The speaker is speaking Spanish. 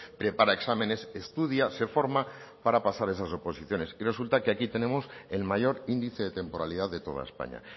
prepara exámenes estudia se forma para pasar esas oposiciones y resulta que aquí tenemos el mayor índice de temporalidad de toda españa